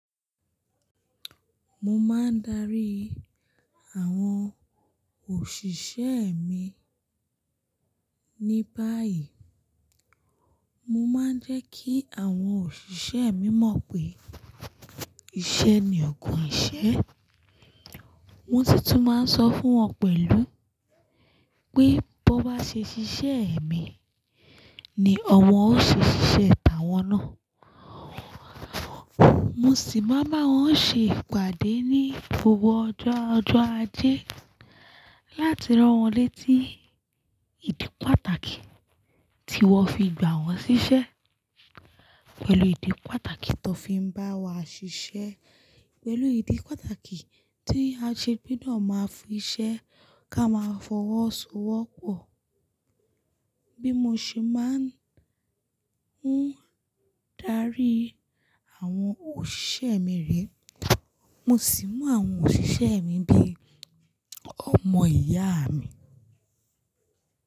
Mo máa ń darí àwọn òṣìṣẹ́ mi ní báyìí. Mo máa ń jẹ́ kí àwọn òṣìṣẹ́ mi mọ̀ pé iṣẹ́ ni ògùn ìṣẹ́. Mo títún máa ń sọ fún wọn pẹ̀lú pé bó bá ṣe ṣiṣẹ́ èmi ni ọwọn ó ṣe ṣiṣẹ́ tàwọn náà. Mo sì máa bá wọn ṣe ìpàdé ní gbogbo ọjọ́ ajé láti rán wọn létí ìdí pàtàkì tí wọ́n fi gbà wọ́n ṣiṣẹ́ pẹ̀lú ìdí pàtàkì tó fi ń bá wa ṣiṣẹ́ pẹ̀lú ìdí pàtàkì tí a ṣe gbọdọ̀ máa fi ṣẹ́ ká máa fọwọ́sowọ́pọ̀. Bí mo ṣe máa ń darí àwọn òṣìṣẹ́ mi rí, mo sì mọ àwọn òṣìṣẹ́ mi bí ọmọ ìyá mi.